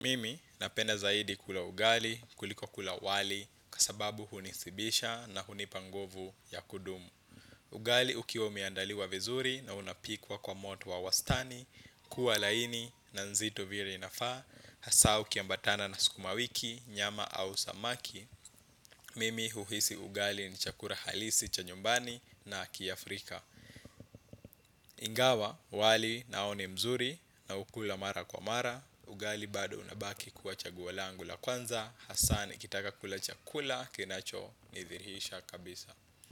Mimi napenda zaidi kula ugali, kuliko kula wali, kwa sababu hunisibisha na hunipa nguvu ya kudumu. Ugali ukiwa umeandaliwa vizuri na unapikwa kwa moto wa wastani, kuwa laini, na nzito vire inafaa, hasaa ukiambatana na sukuma wiki, nyama au samaki. Mimi huhisi ugali ni chakura halisi cha nyumbani na kiafrika. Ingawa wali nao ni mzuri naukula mara kwa mara. Ugali bado unabaki kuwa chaguo langu la kwanza. Hasaa nikitaka kula chakula kinacho nithirihisha kabisa.